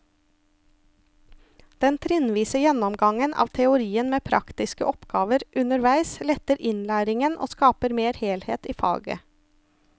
Den trinnvise gjennomgangen av teorien med praktiske oppgaver underveis letter innlæringen og skaper mer helhet i faget.